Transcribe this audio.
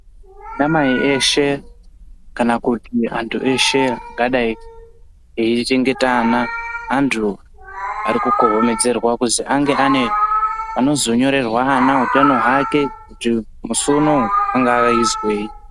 Anamai eshe kana kuti antu eshe angadai eichengeta ana. Antu ari kukohomedzerwa kuzi ange ane anozonyorerwa ana utano hwake kuti musi unouyu angave eizwei.